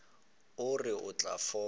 o re o tla fola